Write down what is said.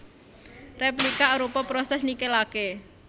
Réplikasi arupa prosès nikelaké